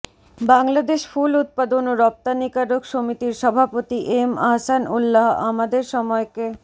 বাংলাদেশ ফুল উৎপাদন ও রপ্তানিকারক সমিতির সভাপতি এম আহসান উল্লাহ আমাদের সময়কে